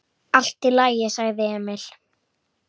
Allt í lagi, sagði Emil.